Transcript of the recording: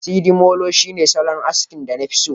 sidimolo shine solon askin da nafi so